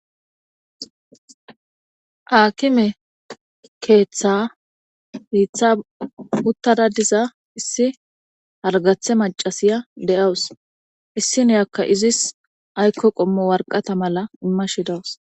Aakime keeththa hiitha uttada diza issi hargathe macasiya de'awus issi nuyakka izis aykko qommo warqata mala immashidawus.